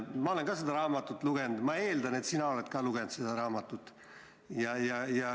Ma olen ka seda raamatut lugenud ja ma eeldan, et sina samuti.